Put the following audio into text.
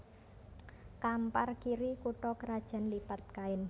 Kampar Kiri kutha krajan Lipat Kain